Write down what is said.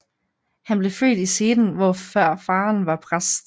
Han blev født i Seden hvor faderen var præst